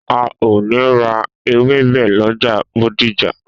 A o ni ra ewebẹ lọjà Bódìjà